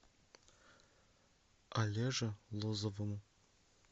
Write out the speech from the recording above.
олеже лозовому